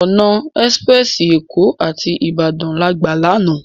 Òná èsipirèsi Ékó áti Ibadan lágbá làná